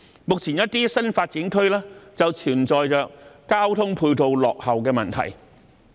目前，一些新發展區便存在着交通配套落後的問題。